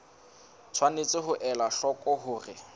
tshwanetse ho ela hloko hore